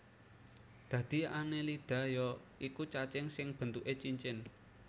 Dadi Annelida ya iku cacing sing bentuké cincin